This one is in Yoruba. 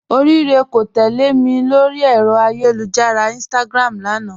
Orirè kò tẹlẹ̀ mì lórí èrò ayélujára Instagram lánà